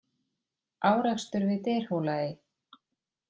Árekstur við Dyrhólaey